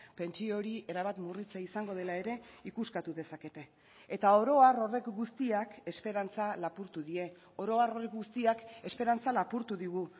pentsio hori erabat murritza izango dela ere ikuskatu dezakete eta oro har horrek guztiak esperantza lapurtu die oro har guztiak esperantza lapurtu digu